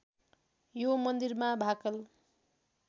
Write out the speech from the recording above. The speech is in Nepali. यो मन्दिरमा भाकल